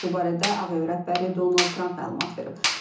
Bu barədə Ağ Ev rəhbəri Donald Trump məlumat verib.